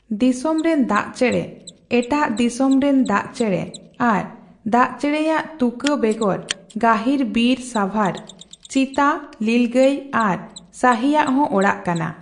ᱫᱤᱥᱚᱢ ᱨᱤᱱ ᱫᱟᱜᱪᱮᱬᱮ, ᱮᱴᱟᱜ ᱫᱤᱥᱚᱢ ᱨᱤᱱ ᱫᱟᱜᱪᱮᱬᱮ ᱟᱨ ᱫᱟᱜᱮᱸᱬᱮ ᱭᱟᱜ ᱛᱩᱠᱟᱹ ᱵᱮᱜᱚᱨ, ᱜᱟᱹᱦᱤᱨ ᱵᱤᱨ ᱥᱟᱸᱵᱷᱟᱨ, ᱪᱤᱛᱟᱹ ᱞᱤᱞᱜᱟᱹᱭ ᱟᱨ ᱥᱟᱦᱤ ᱭᱟᱜ ᱦᱚᱸ ᱚᱲᱟᱜ ᱠᱟᱱᱟ ᱾